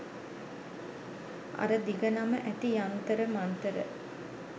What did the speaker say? අර දිග නම ඇති යන්තර මන්තර